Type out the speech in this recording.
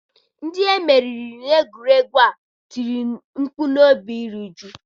Ndị meriri n'egwuregwu a tiri mkpu n'obi iru uju.